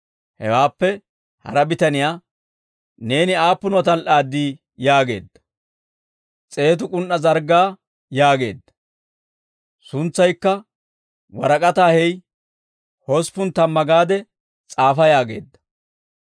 «Hewaappe hara bitaniyaa, ‹Neeni aappunuwaa tal"aaddii?› yaageedda. « ‹S'eetu k'un"aa zarggaa› yaageedda. «Suntsaykka, ‹Warak'ataa hey; hosppun tamma gaade s'aafa› yaageedda.